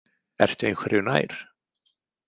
Ertu einhverju nær?